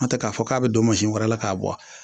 N'o tɛ k'a fɔ k'a bɛ don wɛrɛ la k'a bɔ a